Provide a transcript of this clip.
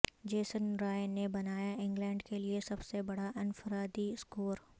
Jason Roy نے بنایاانگلینڈ کے لئے سب سے بڑا انفرادی اسکور